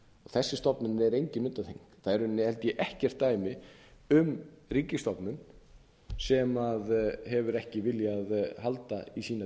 þessi stofnun er engin undantekning það er í rauninni held ég ekkert dæmi um ríkisstofnun sem hefur ekki viljað halda í sína